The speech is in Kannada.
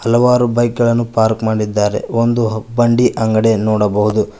ಹಲವಾರು ಬೈಕ್ ಗಳನ್ನು ಪಾರ್ಕ್ ಮಾಡಿದ್ದಾರೆ ಒಂದು ಬಂಡಿ ಅಂಗಡಿಯ ನೋಡಬಹುದು.